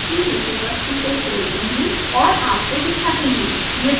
अब मैं data file की विषय वस्तु को खोलती और आपको दिखाती हूँ